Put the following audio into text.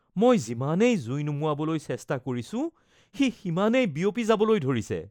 মই যিমানেই জুইখিনি নুমুৱাবলৈ চেষ্টা কৰিছো, সি সিমানেই বিয়পি যাবলৈ ধৰিছে।